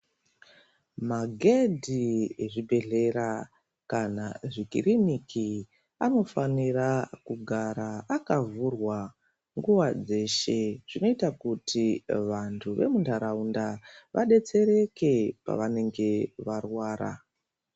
Magendi ezvibhedhlera kana zvikiriniki anofanira kugara akavhurwa nguva dzeshe. Zvinota kuti vantu vemuntaraunda vabetsereke pavanenge varwara.